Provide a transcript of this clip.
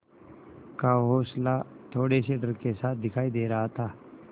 का हौंसला थोड़े से डर के साथ दिखाई दे रहा था